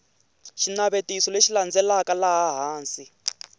xinavetiso lexi landzelaka laha hansi